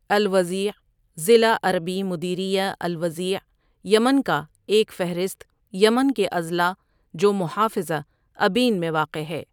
Al Wadea ضلع عربی مديرية الوضيع یمن کا ایک فہرست یمن کے اضلاع جو محافظہ ابین میں واقع ہے۔